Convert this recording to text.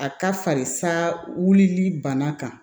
A ka farisaa wulili bana kan